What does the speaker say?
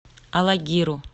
алагиру